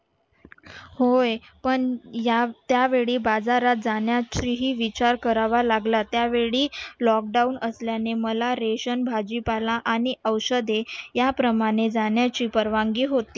होय पण या त्यावेळी बाजारात जाण्यासही विचार करावा लागला त्यावेळी lockdown असल्यामुळे मला ration भाजीपाला आणि औषधे याप्रमाणे जाण्याची परवानगी होती.